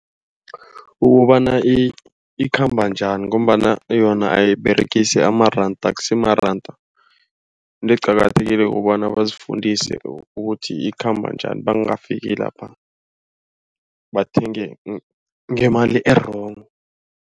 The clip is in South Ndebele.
Ukobana ikhamba njani ngombana yona ayiberegisi amaranda. Akusimaranda into eqakathekile kobana bazifundise ukuthi ikhamba njani bangafaki lapha bathenge ngemali e-wrong.